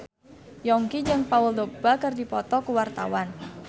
Yongki jeung Paul Dogba keur dipoto ku wartawan